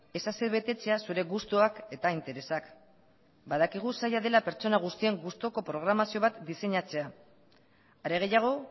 ez asebetetzea zure gustuak eta interesak badakigu zaila dela pertsona guztien gustuko programazio bat diseinatzea are gehiago